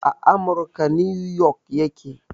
A amurka 'New York' ya ke